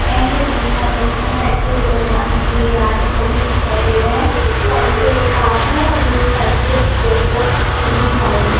and दो चार लोग यहां पेट्रोल डलवाने के लिए आ रहे हैं वो भी दिखाई दे रहा है साइट पे कार हैं एक साइट ट्रैक्टर खड़ी दिखाई दे--